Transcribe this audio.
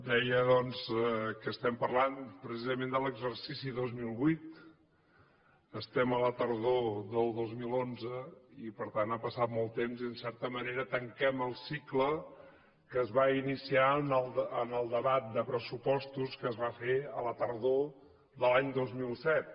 deia doncs que estem parlant precisament de l’exercici dos mil vuit estem a la tardor del dos mil onze i per tant ha passat molt temps i en certa manera tanquem el cicle que es va iniciar en el debat de pressupostos que es va fer a la tardor de l’any dos mil set